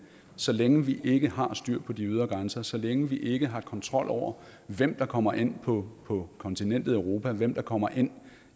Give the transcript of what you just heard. så længe vi ikke har styr på de ydre grænser så længe vi ikke har kontrol over hvem der kommer ind på på kontinentet europa hvem der kommer ind